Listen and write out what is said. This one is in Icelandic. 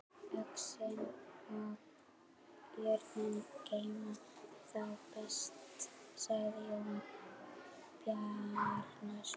Öxin og jörðin geyma þá best, sagði Jón Bjarnason.